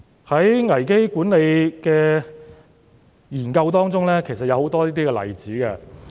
在危機管理的研究中，其實也有很多這些例子。